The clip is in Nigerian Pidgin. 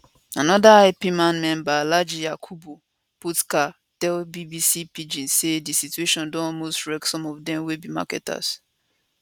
anoda ipman member alhaji yakubu puka tell bbc pidgin say di situation don almost wreck some of dem wey be marketers